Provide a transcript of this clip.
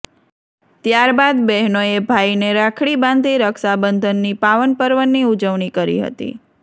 ત્યાર બાદ બહેનોએ ભાઈને રાખડીબ ાંધી રક્ષાબંધનની પાવનપર્વની ઉજવણી કરી હતી